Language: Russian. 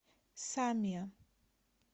самиа